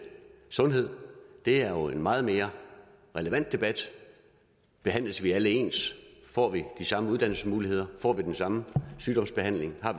sundhed er jo en meget mere relevant debat behandles vi alle ens får vi de samme uddannelsesmuligheder får vi den samme sygdomsbehandling har